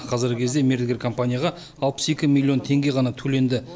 қазіргі кезде мердігер компанияға алпыс екі миллион теңге ғана төленді